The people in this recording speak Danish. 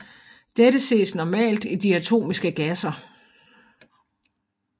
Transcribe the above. Dette ses normalt i diatomiske gasser